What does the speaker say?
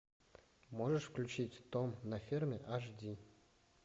можешь включить том на ферме аш ди